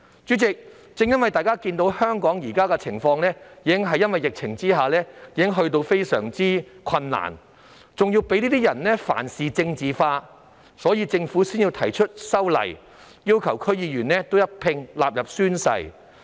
主席，由於大家都看到香港在現時的疫情下已經困難重重，而這些人仍事事政治化，所以政府才提出修例，要求區議員宣誓。